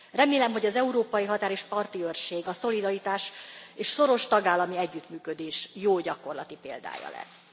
Remélem, hogy az Európai Határ és Parti Őrség a szolidaritás és szoros tagállami együttműködés jó gyakorlati példája lesz.